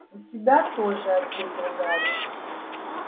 у тебя тоже ответил гарри